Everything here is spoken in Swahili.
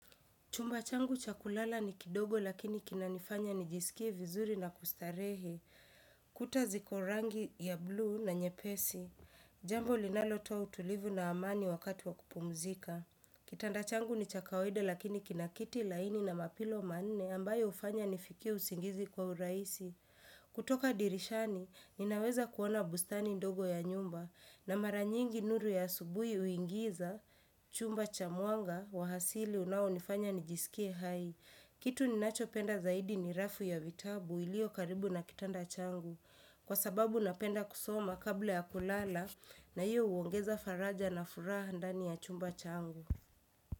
Chumba changu cha kulala ni kidogo lakini kinanifanya nijisikie vizuri na kustarehe. Kuta ziko rangi ya bluu na nyepesi. Jambo linalotoa utulivu na amani wakati wa kupumzika. Kitanda changu ni cha kawaida lakini kina kiti laini na mapilo manne ambayo ufanya nifikie usingizi kwa uraisi. Kutoka dirishani, ninaweza kuona bustani ndogo ya nyumba. Na maranyingi nuru ya asubuhi uingiza chumba cha mwanga wa hasili unao nifanya nijisikie hai. Kitu ninacho penda zaidi ni rafu ya vitabu ilio karibu na kitanda changu. Kwa sababu napenda kusoma kabla ya kulala na iyo uongeza faraja na furaha ndani ya chumba changu.